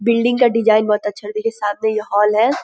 Building का design बहुत अच्छा और देखिए सामने ये हॉल है ।